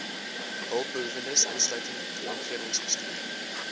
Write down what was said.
hulpbehoewendes insluitend omgewingsbestuur